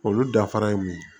Olu danfara ye mun ye